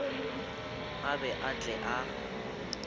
a be a tle a